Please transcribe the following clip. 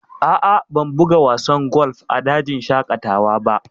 A'a, ban buga wasan golf a dajin shaƙatawa ba